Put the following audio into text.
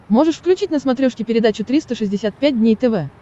можешь включить на смотрешке передачу триста шестьдесят пять дней тв